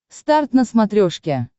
старт на смотрешке